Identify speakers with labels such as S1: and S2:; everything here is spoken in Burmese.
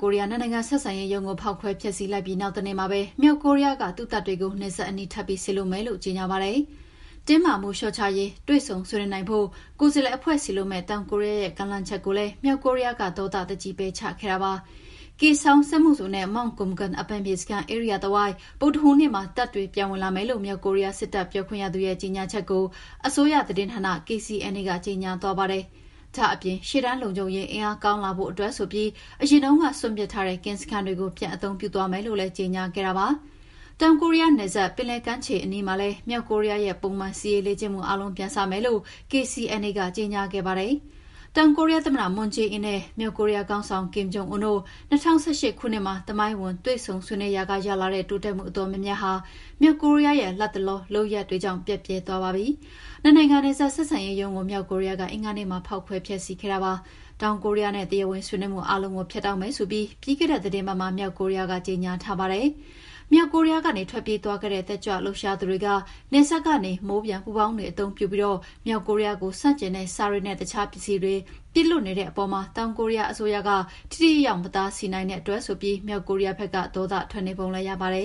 S1: ကိုရီးယားနှစ်နိုင်ငံ ဆက်ဆံရေးရုံးကို ဖောက်ခွဲဖျက်ဆီးလိုက်ပြီး နောက်တနေ့မှာပဲ မြောက်ကိုရီးယားက သူ့တပ်တွေကို နယ်စပ်အနီး ထပ်ပြီး စေလွှတ်မယ်လို့ ကြေငြာပါတယ်။ တင်းမာမှုလျှော့ချရေး တွေ့ဆုံဆွေးနွေးနိုင်ဖို့ ကိုယ်စားလှယ်အဖွဲ့စေလွှတ်မယ့် တောင်ကိုရီးယားရဲ့ ကမ်းလှမ်းချက်ကိုလည်း မြောက်ကိုရီးယားက ဒေါသတကြီး ပယ်ချခဲ့တာပါ။ Kaesong စက်မှုဇုန်နဲ့ Mt.Kumgang အပန်းဖြေစခန်း ဧရိယာတဝိုက်တပ်တွေ ဗုဒ္ဓဟူးနေ့မှာ ပြန်ဝင်လာမယ်လို့ မြောက်ကိုရီးယား စစ်တပ်ပြောခွင့်ရသူရဲ့ ကြေငြာချက်ကိုအစိုးရသတင်းဌာန KCNA ကကြေငြာသွားပါတယ်။ ဒါ့အပြင် ရှေ့တန်းလုံခြုံရေး အင်အားကောင်းလာဖို့အတွက်ဆိုပြီး အရင်တုန်းက စွန့်ပစ်ထားတဲ့ ကင်းစခန်းတွေကို ပြန်အသုံးပြုသွားမယ်လို့လည်း ကြေငြာခဲ့တာပါ။ တောင်ကိုရီးယားနယ်စပ် ပင်လယ်ကမ်းခြေအနီးမှာလည်း မြောက်ကိုရီးယားရဲ့ ပုံမှန် စစ်ရေးလေ့ကျင့်မှုအားလုံးကို ပြန်စမယ်လို့ KCNA က ကြေငြာခဲ့ပါတယ်။ တောင်ကိုရီးယားသမ္မတ မွန်းဂျေးအင်းနဲ့ မြောက်ကိုရီးယားခေါင်းဆောင် ကင်မ်ဂျုံအွန်းတို့ ၂၀၁၈ ခုနှစ်မှာ သမိုင်းဝင်တွေ့ဆုံဆွေးနွေးရာက ရလာတဲ့ တိုးတက်မှုအတော်များများဟာ မြောက်ကိုရီးယားရဲ့ လတ်တလော လုပ်ရပ်တွေကြောင့် ပျက်ပြယ်သွားပါပြီ။ နှစ်နိုင်ငံနယ်စပ် ဆက်ဆံရေးရုံးကို မြောက်ကိုရီးယားက အင်္ဂါနေ့မှာ ဖောက်ခွဲဖျက်ဆီးခဲ့တာပါ။ တောင်ကိုရီးယားနဲ့ တရားဝင်ဆွေးနွေးမှု အားလုံးကို ဖြတ်တောက်မယ်ဆိုပြီး ပြီးခဲ့တဲ့သီတင်းပတ်မှာ မြောက်ကိုရီးယားက ကြေငြာထားပါတယ်။ မြောက်ကိုရီးယားကနေ ထွက်ပြေးသွားခဲ့တဲ့ တက်ကြွလှုပ်ရှားသူတွေက နယ်စပ်ကနေ မိုးပျံပူဖောင်းတွေ အသုံးပြုပြီး မြောက်ကိုရီးယားကို ဆန့်ကျင်တဲ့ စာတွေနဲ့ တခြားပစ္စည်းတွေ ပစ်လွှတ်နေတဲ့အပေါ် တောင်ကိုရီးယား အစိုးရက ထိထိရောက်ရောက်မတားဆီးနိုင်တဲ့ အတွက် မြောက်ကိုရီးယားဘက်က ဒေါသထွက်နေပုံလည်း ရပါတယ